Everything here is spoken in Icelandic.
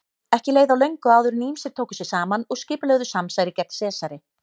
Ekki leið á löngu áður en ýmsir tóku sig saman og skipulögðu samsæri gegn Sesari.